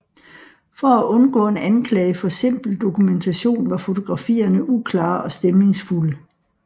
For at undgå en anklage for simpel dokumentation var fotografierne uklare og stemningsfulde